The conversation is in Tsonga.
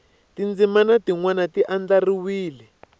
tindzimana tin wana ti andlariwe